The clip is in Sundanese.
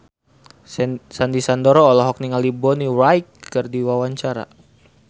Sandy Sandoro olohok ningali Bonnie Wright keur diwawancara